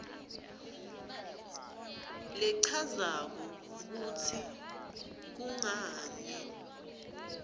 lechazako kutsi kungani